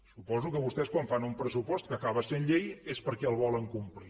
suposo que vostès quan fan un pressupost que acaba sent llei és perquè el volen complir